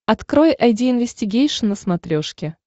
открой айди инвестигейшн на смотрешке